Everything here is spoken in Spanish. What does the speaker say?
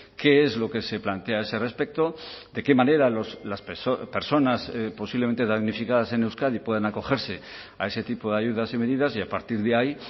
qué es lo que se plantea a ese respecto de qué manera las personas posiblemente damnificadas en euskadi puedan acogerse a ese tipo de ayudas y medidas y a partir de ahí